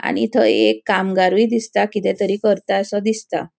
आणि थय एक कामगारुय दिसता किते तरी करतासो दिसता.